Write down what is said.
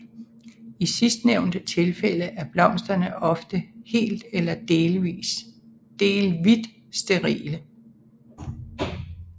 I sidstnævnte tilfælde er blomsterne ofte helt eller delvit sterile